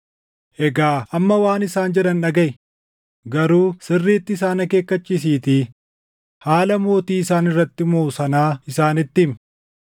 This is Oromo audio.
Egaa amma waan isaan jedhan dhagaʼi; garuu sirriitti isaan akeekkachiisiitii haala mootii isaan irratti mooʼu sanaa isaanitti himi.”